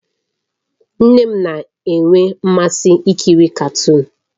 Nne m na-enwe mmasị ikiri katuun